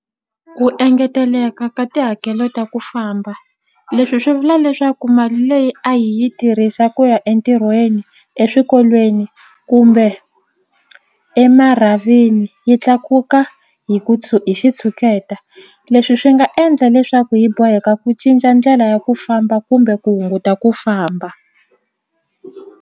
Ku engeteleka ka tihakelo ta ku famba leswi swi vula leswaku mali leyi a hi yi tirhisa ku ya entirhweni eswikolweni kumbe emarhavini yi tlakuka hi ku hi xitshuketa leswi swi nga endla leswaku hi boheka ku cinca ndlela ya ku famba kumbe ku hunguta ku famba.